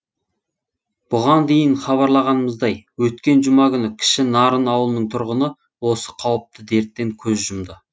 бұған дейін хабарлағанымыздай өткен жұма күні кіші нарын ауылының тұрғыны осы қауіпті дерттен көз жұмды